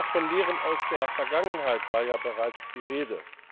Auch von Lehren aus der Vergangenheit war bereits die Rede.